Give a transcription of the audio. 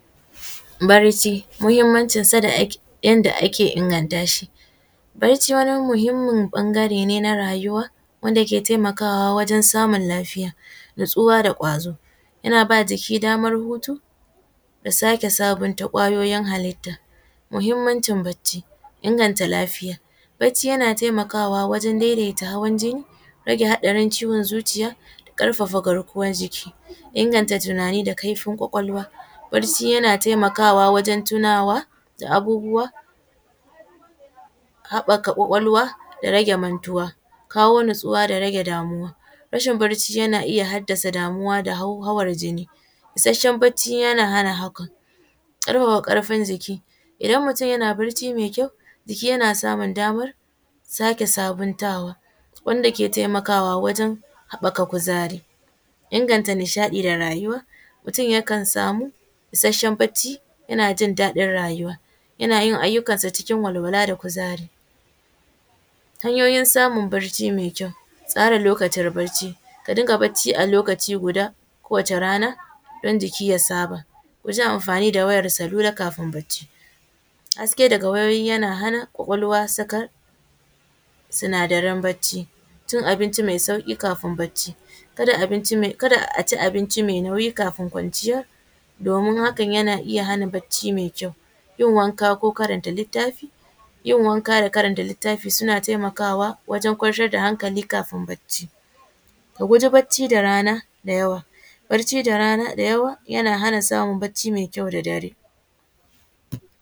Bacci, muhimmancin sa da yadda ake inganta shi, bacci wani muhimi ne na rayuwa wanda yake taimakawa wajen samun lafiya natsuwa da gwazo yana ba jiki damar hutu da sake sabunta ƙwayoyin halite, muhimmancin bacci inganta lafiya bacci yana taimakawa wajen daidaita hawan jinni rage hatsarin zuciya karfafa garkuwar jiki inganta tunani da kaifin kwakwalwa, bacci yana taimakawa wajen tunawa da abubuwa haɓaka kwakwalwa da rage mantuwa, kawo natsuwa da rage damuwa, rashin bacci yana iya hadasa damuwa da hauhawan jinni, isasshen bacci yana hana haka, karfafa karfin jiki idan mutum yana bacci mai kyau jiki yana sake damar sabuntawa wanda ke taimakawa wajen haɓaka kuzari, inganta nishaɗi da rayuwa, mutum yakan samu isasshen bacci yana jin daɗin rayuwa yana yin ayyukan sa cikin walwala da kuzari, hanyoyin samun bacci mai kyau, tsara lokacin bacci ka dinga bacci a lokaci guda kowace rana don jiki ya saba, kuji amfani da wayan salula kafin bacci, haske daga wayoyi yana kwakwalwa sakat, sinadaran bacci cin abinci mai sauki kafin bacci, kada aci abinci mai nauyi kafin kwanciya domin haka yana iya hana bacci mai kyau, yin wanka ko karanta littafi yin wanka da karanta litafi suna taimakawa wajen kwantar da hankali kafin bacci, ka kuji bacci da rana da yawa, bacci da rana da yawa yana hana samun bacci mai kyau da dare.